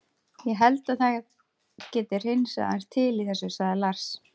Ég held að það geti hreinsað aðeins til í þessu, sagði Lars.